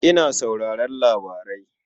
Ina sauraron labarai.